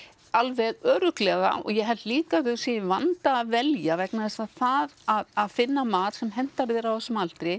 alveg örugglega og ég held líka að þau séu í vanda að velja vegna þess að það að finna mat sem hentar þér á þessum aldri